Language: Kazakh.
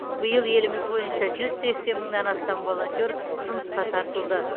биыл еліміз бойынша жүз сексен мыңнан астам волонтер жұмысқа тартылды